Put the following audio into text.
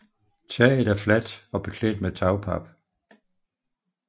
Taget er fladt og beklædt med tagpap